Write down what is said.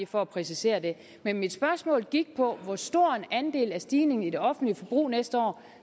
for at præcisere det men mit spørgsmål gik på hvor stor en andel af stigningen i det offentlige forbrug næste år